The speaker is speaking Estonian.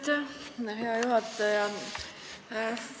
Aitäh, hea juhataja!